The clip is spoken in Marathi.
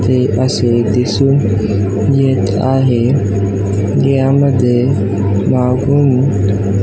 हे असे दिसून येत आहे यामध्ये वाहून --